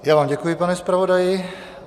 Já vám děkuji, pane zpravodaji.